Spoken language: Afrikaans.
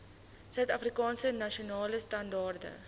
suidafrikaanse nasionale standaarde